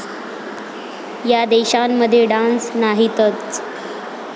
या देशांमध्ये डास नाहीतच!